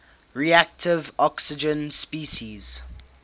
reactive oxygen species